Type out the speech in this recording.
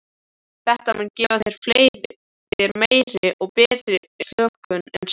Þetta mun gefa þér meiri og betri slökun en svefn.